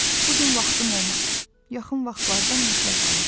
Bu gün vaxtım olmadı, yaxın vaxtlarda mütləq alacam.